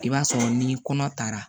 I b'a sɔrɔ ni kɔnɔ taara